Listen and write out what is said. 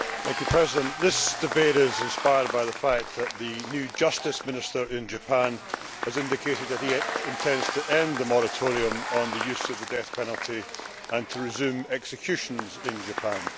Mr President, this debate is inspired by the fact that the new Justice Minister in Japan has indicated that he intends to end the moratorium on the use of the death penalty and to resume executions in Japan.